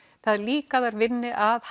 það er líka að þær vinni að